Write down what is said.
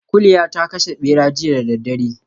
Kuliya ta kashe ɓera jiya da daddare